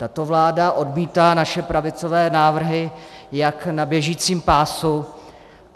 Tato vláda odmítá naše pravicové návrhy jak na běžícím pásu.